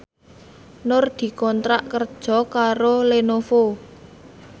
Nur dikontrak kerja karo Lenovo